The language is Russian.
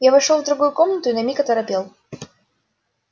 я вошёл в другую комнату и на миг оторопел